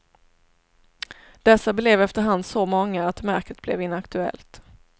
Dessa blev efter hand så många, att märket blev inaktuellt.